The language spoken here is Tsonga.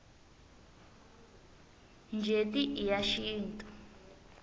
njeti i ya xintu